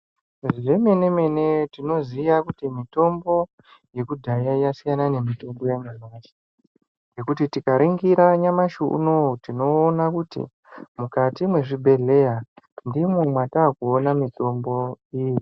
Zvemene mene tinoziva kuti mitombo yekudhaya yasiyana nemitombo yanyamashi ngekuti tikaningira nyamushi unowu tinoona kuti mukati muzvibhedhleya ndimwo mwatakuona mitombo yeshe.